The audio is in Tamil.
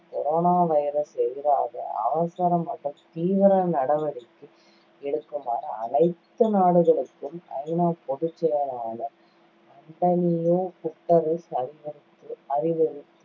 corona virus எதிராக அவசர மற்றும் தீவிர நடவடிக்கை எடுக்குமாறு அனைத்து நாடுகளுக்கும் ஐ நா பொதுச்செயலாளர் அன்டணியோ குட்டரெஸ் அறிவுறுத்~ அறிவுறுத்தி